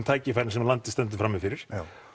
tækifærin sem landið stendur frammi fyrir